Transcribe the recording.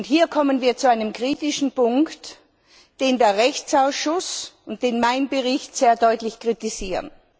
Hier kommen wir zu einem kritischen Punkt, den der Rechtsausschuss und mein Bericht sehr deutlich kritisieren.